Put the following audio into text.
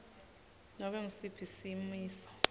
nobe ngusiphi simiso